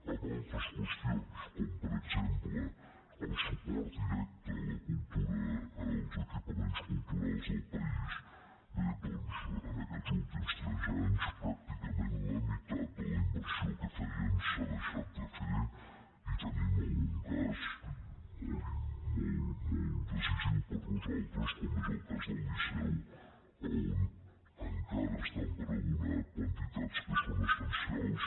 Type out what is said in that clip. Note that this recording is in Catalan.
en altres qüestions com per exemple el suport directe als equipaments culturals del país bé doncs en aquests últims tres anys pràcticament la meitat de la inversió que feien s’ha deixat de fer i tenim algun cas molt decisiu per a nosaltres com és el cas del liceu on encara estan per abonar quantitats que són essencials